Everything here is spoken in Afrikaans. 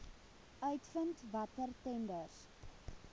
uitvind watter tenders